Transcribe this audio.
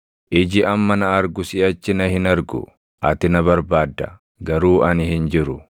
Iji amma na argu siʼachi na hin argu; ati na barbaadda; garuu ani hin jiru.